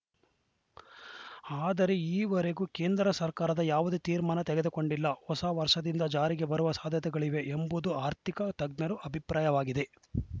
ಆದರೆ ಈವರೆಗೂ ಕೇಂದ್ರ ಸರ್ಕಾರದ ಯಾವುದೇ ತೀರ್ಮಾನ ತೆಗೆದುಕೊಂಡಿಲ್ಲ ಹೊಸ ವರ್ಷದಿಂದ ಜಾರಿಗೆ ಬರುವ ಸಾಧ್ಯತೆಗಳಿವೆ ಎಂಬುದು ಅರ್ಥಿಕ ತಜ್ಞರ ಅಭಿಪ್ರಾಯವಾಗಿದೆ